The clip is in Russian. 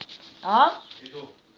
а иду